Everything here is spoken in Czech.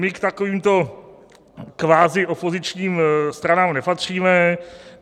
My k takovýmto kvazi opozičním stranám nepatříme.